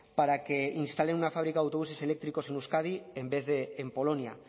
para que instale una fábrica de autobuses eléctricos en euskadi en vez de en polonia